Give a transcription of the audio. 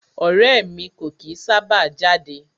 Ọrẹ́ ẹ̀ mi kò kìí sábà jáde.